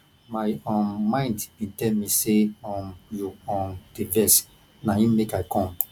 my um mind bin tell me sey um you um dey vex na im make i com